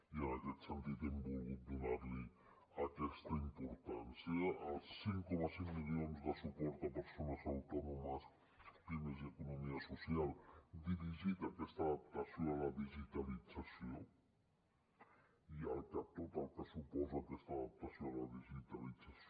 i en aquest sentit hem volgut donar li aquesta importància als cinc coma cinc milions de suport a persones autònomes pimes i economia social dirigida aquesta adaptació a la digitalització ja que tot el que suposa aquesta adaptació a la digitalització